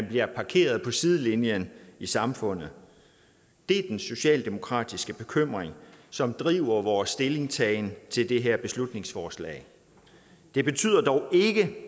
bliver parkeret på sidelinjen i samfundet det er den socialdemokratiske bekymring som driver vores stillingtagen til det her beslutningsforslag det betyder dog ikke